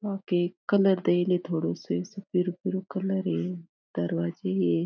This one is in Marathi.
वहां पे एक कलर देईले थोड़ा से कलर है दरवाजे है।